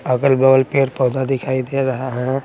अगल बगल पैर पौधा दिखाई दे रहा है।